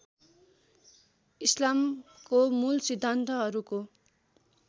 इस्लामको मूल सिद्धान्तहरूको